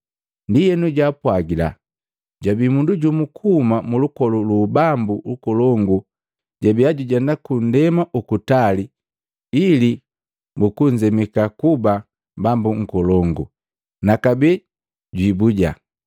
Ndienu jaapwagila, “Jabii mundu jumu kuhuma mulukolu luu ubambu nkolungu jabia jujenda kundema ukutali ili bukunzemika kuba bambu nkolongu, na kabee jwiibuja.